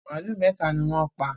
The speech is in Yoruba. Màlúù mẹ́tà ni wọ́n pa.